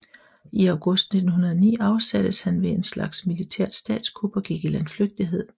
I august 1909 afsattes han ved en slags militært statskup og gik i landflygtighed